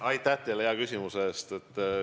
Aitäh teile hea küsimuse eest!